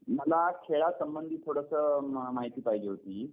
मला खेळासंबंधी थोडंसं माहिती पाहिजे होती.